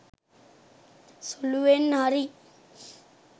සුළුවෙන් හරි